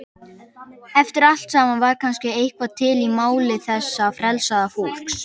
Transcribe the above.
Eftir allt saman var kannski eitthvað til í máli þessa frelsaða fólks.